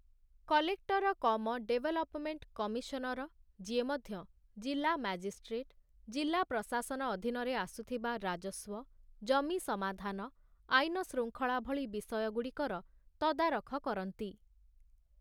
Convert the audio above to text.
Collector cum development commissioner, ଯିଏ ମଧ୍ୟ ଜିଲ୍ଲା ମାଜିଷ୍ଟ୍ରେଟ, ଜିଲ୍ଲା ପ୍ରଶାସନ ଅଧୀନରେ ଆସୁଥିବା ରାଜସ୍ୱ, ଜମି ସମାଧାନ, ଆଇନ ଶୃଙ୍ଖଳା ଭଳି ବିଷୟଗୁଡ଼ିକର ତଦାରଖ କରନ୍ତି ।